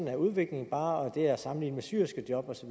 er udviklingen bare det er at sammenligne med syerskejob osv